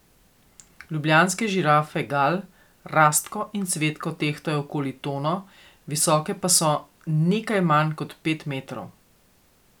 Ljubljanske žirafe Gal, Rastko in Cvetko tehtajo okoli tono, visoke pa so nekaj manj kot pet metrov.